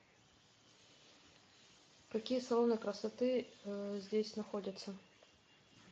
какие салоны красоты здесь находятся